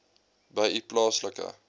by u plaaslike